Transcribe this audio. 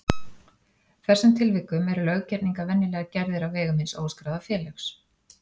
þessum tilvikum eru löggerningar venjulega gerðir á vegum hins óskráða félags.